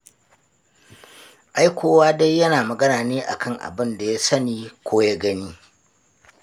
Ai kowa dai yana magana ne a kan abin da ya sani ko ya gani.